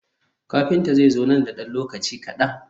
Kafinta zai zo nan da ɗan lokaci kaɗan.